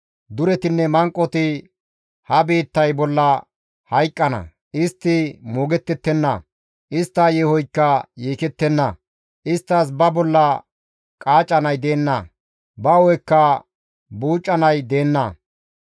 Duretinne manqoti ha biittay bolla hayqqana; istti moogettettenna. Istta yeehoykka yeekettenna; isttas ba bolla qaacanay deenna; ba hu7ekka buucanay deenna.